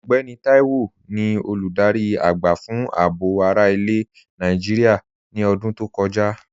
Ọgbẹ́nì Táíwò ni olúdárí agba fun àábò ara ilẹ̀ Nàìjíríà ní ọ̀dún tó kọja.